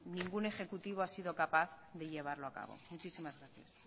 ningún ejecutivo ha sido capaz de llevarlo a cabo muchísimas gracias